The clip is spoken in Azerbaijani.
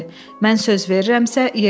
Mən söz verirəmsə, yerinə yetirirəm.